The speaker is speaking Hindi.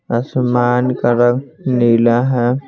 आसमान का रंग नीला है।